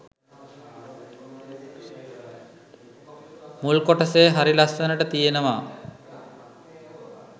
මුල් කොටසේ හරි ලස්සනට තියෙනවා.